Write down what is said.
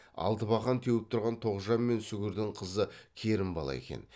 алтыбақан теуіп тұрған тоғжан мен сүгірдің қызы керімбала екен